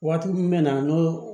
Waati min bɛ na n'o